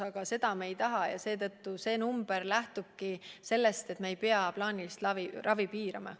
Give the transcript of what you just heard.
Aga seda me ei taha ja meie eesmärk ongi, et me ei pea plaanilist ravi piirama.